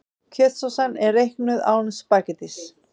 Kjötsósan er reiknuð án spaghettís.